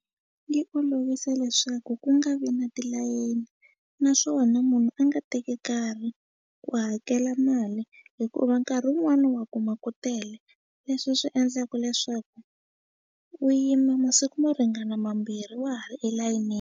Yi olovise leswaku ku nga vi na tilayini naswona munhu a nga teki nkarhi ku hakela mali hikuva nkarhi wun'wani wa kuma ku tele leswi swi endlaku leswaku u yima masiku mo ringana mambirhi wa ha ri elayinini.